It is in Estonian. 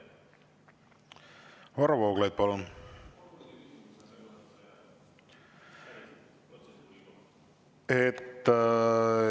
Varro Vooglaid, palun!